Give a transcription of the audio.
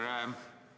Aitäh, härra juhataja!